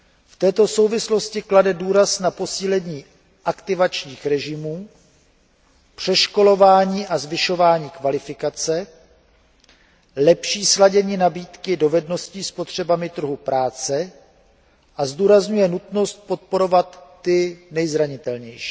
V této souvislosti klade důraz na posílení aktivačních režimů, přeškolování a zvyšování kvalifikace, lepší sladění nabídky dovedností s potřebami trhu práce a zdůrazňuje nutnost podporovat ty nejzranitelnější.